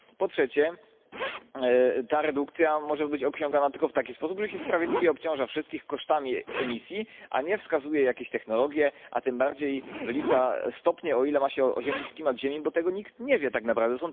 Po trzecie, ta redukcja może być osiągana tylko w taki sposób, że się sprawiedliwie obciąża wszystkich kosztami emisji, a nie wskazuje jakieś technologie, a tym bardziej wylicza stopnie, o ile ma się oziębiać klimat, bo tego nikt nie wie tak naprawdę.